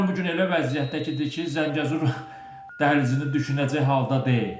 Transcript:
İran bu gün elə vəziyyətdədir ki, Zəngəzur dəhlizini düşünəcək halda deyil.